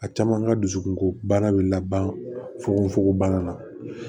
A caman ka dusukunko bana bɛ laban fogonfokon bana na